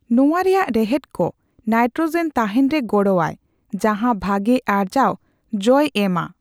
ᱱᱚᱣᱟ ᱨᱮᱭᱟᱜ ᱨᱮᱦᱮᱫ ᱠᱚ ᱱᱟᱭᱴᱨᱚᱳᱡᱮᱱ ᱛᱟᱸᱦᱮᱱ ᱨᱮ ᱜᱚᱲᱚ ᱟᱭ, ᱡᱟᱸᱦᱟ ᱵᱷᱟᱜᱮ ᱟᱨᱡᱟᱣ ᱡᱚᱭ ᱮᱢᱼᱟ ᱾